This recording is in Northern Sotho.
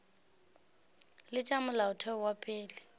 le tša molaotheo wa pele